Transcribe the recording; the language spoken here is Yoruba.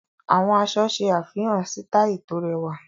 Àwọn aṣọ ṣe àfihàn sítàìlì tó rẹwà.